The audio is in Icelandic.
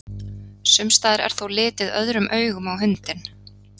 Sumstaðar er þó litið öðrum augum á hundinn.